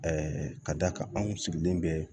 ka d'a kan anw sigilen bɛ